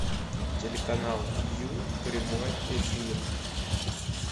телеканал ю прямой эфир